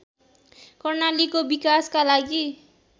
कर्णालीको विकासका लागि